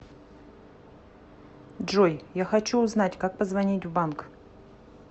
джой я хочу узнать как позвонить в банк